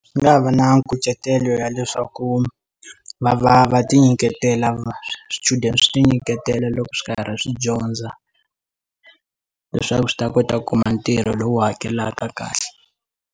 Ndzi nga va na nkucetelo ya leswaku va va va ti nyiketela swichudeni swi ti nyiketela loko swi karhi swi dyondza leswaku swi ta kota ku kuma ntirho lowu hakelaka kahle.